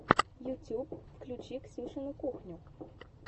ютуб включи ксюшину кухню